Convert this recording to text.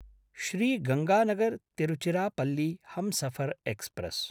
Shri गंगानगर्–तिरुचिरापल्ली Humsafar express